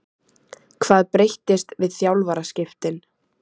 Hvað breyttist við þjálfaraskiptin?